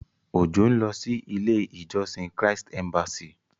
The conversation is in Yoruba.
Òjó ń lọ sí ilé ìjósìn Christ embassy.